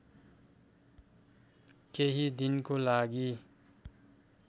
केही दिनको लागि